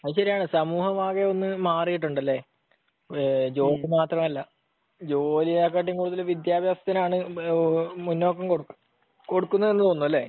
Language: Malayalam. അത് ശരിയാണ്. സമൂഹം ആകെ ഒന്ന് മാറിയിട്ടുണ്ടല്ലേ? ജോബ് മാത്രമല്ല, ജോലിയെക്കാൾ കൂടുതൽ വിദ്യാഭ്യാസത്തിനാണ് മുന്നോക്കം കൊടുക്കുന്ന, കൊടുക്കുന്നതെന്നു തോന്നുന്നു. അല്ലേ?